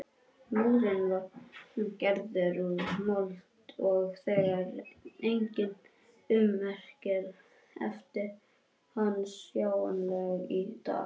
Múrinn var gerður úr mold og því enginn ummerki eftir hann sjáanleg í dag.